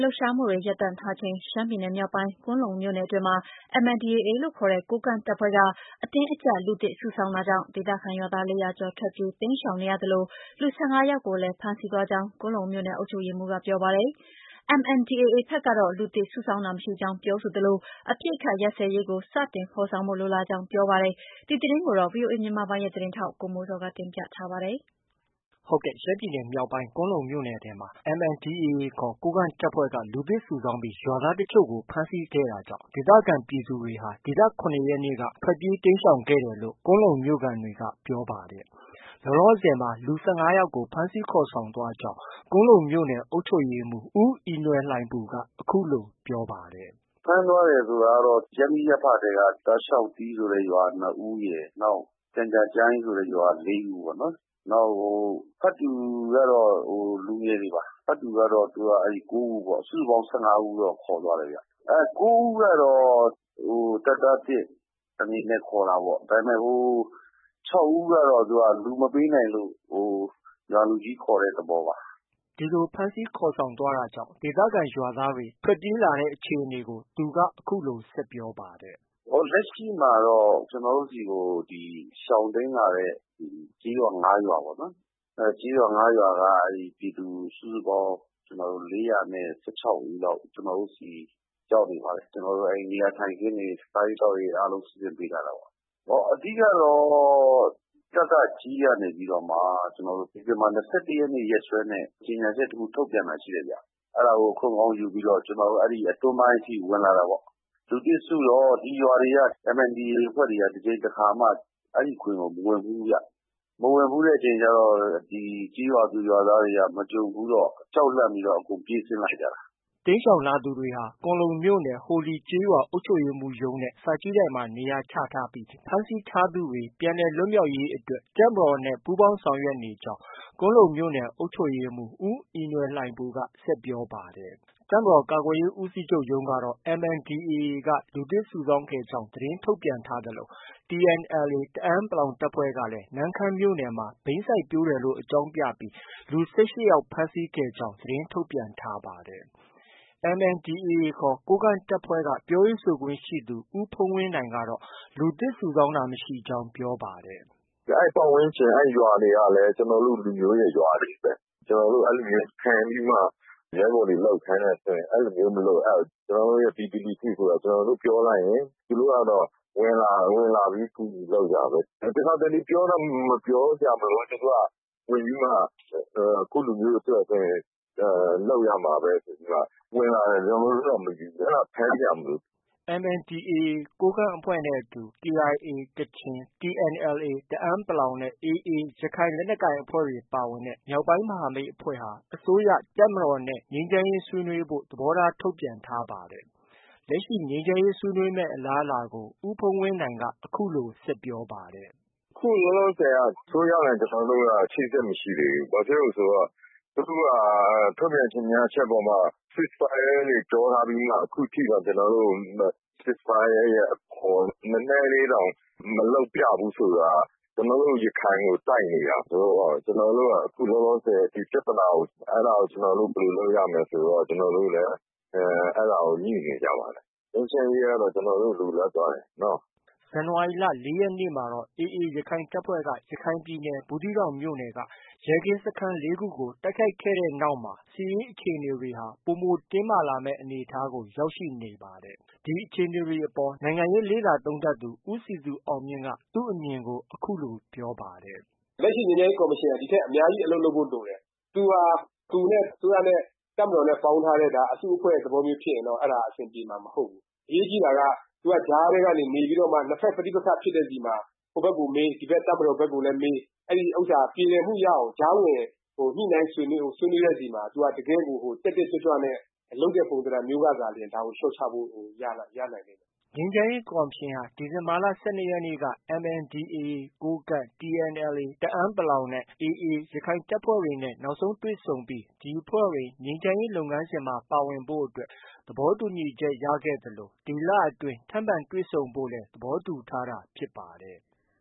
လှုပ်ရှားမှုတွေ ရပ်တန့်ထားချိန်မှာ ရှမ်းပြည်နယ် မြောက်ပိုင်း ကွမ်းလုံမြို့နယ်အတွင်းမှာ MNDAA ခေါ် ကိုးကန့်တပ်ဖွဲ့က အတင်းအကျပ် လူသစ်စုဆောင်း တာကြောင့် ဒေသခံရွာသား ၄၀၀ကျော် ထွက်ပြေးတိမ်းရှောင်နေရသလို လူ ၁၅ယောက်ကိုလည်း ဖမ်းဆီးသွားကြောင်း ကွမ်းလုံမြို့နယ် အုပ်ချုပ်ရေးမှုးက ပြောပါတယ်။ MNDAA ဘက်ကတော့ လူသစ်စုဆောင်းတာမရှိကြောင်း ပြောဆိုသလို အပစ်အခတ်ရပ်စဲရေးကို စတင်ဖော်ဆောင်ဖို့ လိုလားကြောင်း ပြောပါတယ်။ ဒီသတင်းကိုတော့ ဗွီအိုအေမြန်မာပိုင်းရဲ့သတင်းထောက် ကိုမိုးဇော်က တင်ပြထားပါတယ်။ ရှမ်းပြည်နယ် မြောက်ပိုင်း ကွမ်းလုံမြို့နယ်ထဲမှာ MNDAA ခေါ် ကိုးကန့်တပ်ဖွဲ့က လူသစ်စုဆောင်းပြီး ရွာသားအချို့ကို ဖမ်းဆီးခဲ့တာကြောင့် ဒေသခံပြည်သူတွေဟာ ဒီလ ၇ရက်နေ့က ထွက်ပြေးတိမ်းခဲ့တယ်လို့ ကွမ်းလုံမြို့ခံတွေက ပြောပါတယ်။ လောလောဆည်မှာ လူ ၁၅ယောက်ကို ဖမ်းဆီးခေါ်ဆောင်သွားကြောင်း ကွမ်းလုံမြို့နယ် အုပ်ချုပ်ရေးမှုး ဦးအီနွယ်လှိုင်ပူက အခုလို ပြောပါတယ်။ “ ဖမ်းသွားတယ်ဆိုတာကတော့ ရပ်မိရပ်ဖထဲက တာရှောက်တီးဆိုတဲ့ရွာက ၂ဦးရယ်။ ကျန်ကြားကျိုင်းရွာက ၄ဦးပေါ့နော်။ နောက်ဖတ်တူကတော့ လူငယ်တွေပါ။ ဖတ်တူကတော့ ၉ဦးပေါ့။ စုစုပေါင်း ၁၅ဦးတော့ ခေါ်သွားတယ်။ ၉ဦးကတော့ တပ်သားသစ် အနေနဲ့ ခေါ်တာပေါ့။ ဟို ၆ဦးကတော့ လူမပေးနိုင်လို့ ရွာလူကြီးခေါ်တဲ့သဘောပါ။” ဒီလိုဖမ်းဆီးခေါ်ဆောင်းသွားတာကြောင့် ဒေသခံရွာသားတွေ ထွက်ပြေးလာကြတဲ့အခြေအနေကို သူက အခုလို ဆက်ပြောပါတယ်။ “ လက်ရှိမှာတော့ ကျနော်တို့ဆီကို ရှောင်တိမ်းလာတဲ့ ကျေးရွာ ၅ရွာပေါ့နော်။ အဲဒီကျေးရွာ ၅ရွာက ပြည်သူ စုစုပေါင်း ၄၁၆ဦးလောက် ကျနော်တို့ဆီ ရောက်နေပါတယ်။ ကျနော်တို့ နေရာထိုင်ခင်းတွေ၊ စားရေးသောက်ရေးတွေ အားလုံး စီစဉ်ပေးထားတာပေါ့။ အဓိကတော့ ကကကြည်းကနေပြီးတော့မှ ဒီဇင်ဘာ ၂၁ရက်နေ့ ရက်စွဲနဲ့ ကြေညာချက် တစ်ခု ထုတ်ပြန်တာရှိတယ်။ အဲဒါကို အခွင့်ကောင်းယူပြီးတော့ အတွင်းပိုင်းအထိ ဝင်လာတာပေါ့။ လူသစ်စုတော့ ဒီရွာတွေက MNDAA အဖွဲ့တွေက တစ်ကြိမ်တစ်ခါမှ အဲဒီဂွင်ကို မဝင်ဖူးဘူးဗျ။ မဝင်ဖူးတဲ့အခါကျ ကျေးရွာသူရွာသားတွေက မကြုံဘူးတော့ ကြောက်လန့်ပြီးတော့ အကုန်ပြေးဆင်းလာကြတာ။ ” တိမ်းရှောင်လာသူတွေဟာ ကွမ်းလုံမြို့ ဟိုလီကျေးရွာ အုပ်ချုပ်ရေးမှုးရုံးနဲ့ စာကြည့်တိုက်မှာ နေရာချထားပြီး ဖမ်းဆီးထားသူတွေ ပြန်လည်လွတ်မြောက်ရေးအတွက် တပ်မတော်နဲ့ပူးပေါင်း ဆောင်ရွက်နေကြောင်း ကွမ်းလုံမြို့နယ် အုပ်ချုပ်ရေးမှုး ဦးအီနွယ်လှိုင်ပူက ဆက်ပြောပါတယ်။ တပ်မတော် ကာကွယ်ရေးဦးစီးချုပ်ရုံးကတော့ MNDAAက လူသစ်စုဆောင်းခဲ့ကြောင်း သတင်းထုတ်ပြန်ထားသလို TNLA တအန်း(ပလောင်)တပ်ဖွဲ့ကလည်း နမ့်ခမ်းမြို့နယ်မှာဘိန်းစိုက်ပျိုးတယ်လို့ အကြောင်းပြပြီး လူ ၁၈ယောက်ဖမ်းဆီးခဲ့ကြောင်း သတင်းထုတ်ပြန်ထားပါတယ်။ MNDAA ခေါ် ကိုးကန့်တပ်ဖွဲ့ကပြောရေးဆိုခွင့်ရှိသူ ဦးဖုန်းဝင်းနိုင်ကတော့ လူသစ်စုဆောင်းတာ မရှိကြောင်း ပြောပါတယ်။ “ အဲဒီပတ်ဝန်းကျင် အဲဒီရွာတွေကလည်း ကျနော်တို့ရဲ့ ရွာတွေပဲ။ ကျနော်တို့ အဲလိုမျိုး ဖမ်းပြီးမှ ရဲဘော်တွေ လုပ်ခိုင်းတယ်ဆိုရင် အဲလိုမျိုး မလိုအပ်ဘူး။ ကျနော်တို့ ပြည်သူလူထုဆိုတာ ကျနော်တို့ ပြောလိုက်ရင် ဝင်လာတာ။ ဝင်လာပြီး ကူညီလုပ်ကြတာ။ တစ်ခါတစ်လေ ပြောတောင် ပြောစရာမလိုဘူး သူတို့က ဝင်ပြီးမှ ကိုယ့်လူမျိုးအတွက်ဆိုရင် လုပ်ရမှာပဲ ဆိုပြီးမှ ဝင်လာတယ်။ ကျနော်တို့က မယူဘူး။ အဲဒါ ဖမ်းစရာ မလိုဘူး။” MNDAA ကိုးကန့် အဖွဲ့နဲ့အတူ KIA ကချင်၊TNLA တအန်း(ပလောင်)နဲ့ AA ရခိုင်လက်နက်ကိုင် အဖွဲ့တွေပါဝင်တဲ့ မြောက်ပိုင်းမဟာမိတ်အဖွဲ့ဟာ အစိုးရ၊ တပ်မတော်နဲ့ ငြိမ်းချမ်းရေးဆွေးနွေးဖို့ သဘောထားထုတ်ပြန်ထားပါတယ်။ လက်ရှိ ငြိမ်းချမ်းရေးဆွေးနွေးမယ့် အလားအလာကိုဦးဖုန်းဝင်းနိုင်က အခုလို ဆက်ပြောပါတယ်။ “ အခုလောလောဆည်က အစိုးရနဲ့ ကျနော်တို့က အချိတ်အဆက် မရှိသေးဘူး။ သူတို့က ထုတ်ပြန်ကြေညာချက်အပေါ်မှာ cease fire တွေ ပြောထားပြီးမှ။ ခုထိတောင် ကျနော်တို့ကို cease fire ရဲ့ အပေါ် နည်းနည်းလေးတောင် မလုပ်ပြဘူးဆိုတာ ကျနော်တို့ ရခိုင်ကိုတိုက်နေတာဆိုတော့ အဲဒါကို ကျနော်တို့ ဘယ်လို လုပ်ရမလဲဆိုပြီး ကျနော်တို့လည်း အခုလောလောဆည် အဲဒါကို ညှိနေကြပါတယ်။ ငြိမ်းချမ်းရေးကတော့ ကျနော်တို့ လိုလားပါတယ်နော။ ” ဇန်နဝါရီလ ၄ရက်နေ့မှာတော့ AA ရခိုင်တပ်ဖွဲ့က ရခိုင်ပြည်နယ် ဘူးသီးတောင်မြို့နယ်က ရဲကင်းစခန်း ၄ခုကို တိုက်ခိုက်ခဲ့တဲ့နောက်မှာတော့ စစ်ရေးအခြေအနေတွေဟာ ပိုမိုတင်းမာလာမယ့် အနေအထားကို ရောက်ရှိနေပါတယ်။ ဒီအခြေအနေတွေ အပေါ် နိုင်ငံရေးလေ့လာသုံးသပ်သူ ဦးစည်သူအောင်မြင့်က သူ့အမြင်ကို အခုလို ပြောပါတယ်။ “ လက်ရှိ ငြိမ်းချမ်းရေးကော်မရှင်က ဒီထက် အများကြီး အလုပ်လုပ်ဖို့ လိုတယ်။ သူဟာ သူနဲ့ အစိုးရနဲ့ တပ်မတော်နဲ့ ပေါင်းထားတဲ့ အစုအဖွဲ့မျိုးဖြစ်ရင်တော့ အဲဒါ အဆင်ပြေမှာ မဟုတ်ဘူး။ အရေးကြီးတာက သူက ကြားထဲကနေ နေပြီးတော့မှ နှစ်ဘက် ပဋိပက္ခဖြစ်တဲ့ဆီမှာ ဟိုဘက်ကို မေး၊ ဒီဘက် တပ်မတော်ဘက်ကိုလည်း မေး အဲဒီဥစ္စာ ပြေလည်မှုရအောင် ကြားဝင် ညှိနှိုင်းဆွေးနွေးတဲ့ ဆီမှာ သူက တကယ်ကို တက်တက်ကြွကြွနဲ့ လုပ်တဲ့ ပုံသဏ္ဍာန်မျိုးကသာလျှင် ဒါကို လျော့ချဖို့ ရနိုင်လိမ့်မယ်။” ငြိမ်းချမ်းရေးကော်မရှင်ဟာ ဒီဇင်ဘာလ ၁၂ရက်နေ့က MNDAA ကိုးကန့် ၊TNLA တအန်း(ပလောင်)နဲ့ AA ရခိုင်လက်နက်ကိုင်အဖွဲ့တွေ နောက်ဆုံးတွေ့ဆုံခဲ့ပြီး ဒီအဖွဲ့တွေ ငြိမ်းချမ်းရေးလုပ်ငန်းစဉ်မှာ ပါဝင်ဖို့အတွက် သဘောတူညီချက် ရခဲ့သလို ဒီလအတွင်း ထပ်မံတွေ့ဆုံဖို့လည်း သဘောတူထားတာဖြစ်ပါတယ်။